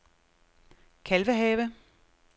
Kalvehave